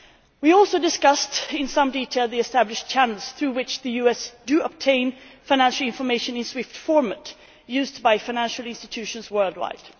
We also discussed in some detail the established channels through which the US does obtain financial information in SWIFT format used by financial institutions worldwide.